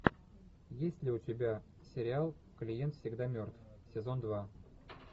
есть ли у тебя сериал клиент всегда мертв сезон два